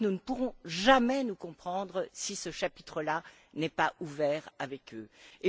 Je crois que nous ne pourrons jamais nous comprendre si ce chapitre là n'est pas ouvert avec elles.